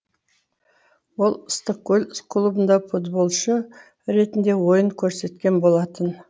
ол ыстықкөл клубында футболшы ретінде ойын көрсеткен болатын